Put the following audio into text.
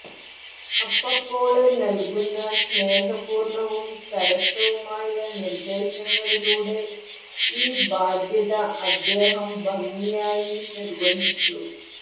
അപ്പപ്പോള് നല്കുന്ന സ്നേഹപൂര്ണവും സരസവുമായ നിര്ദേശങ്ങളിലൂടെ ഈ ബാധ്യത അദ്ദേഹം ഭംഗിയായി നിര്വഹിച്ചു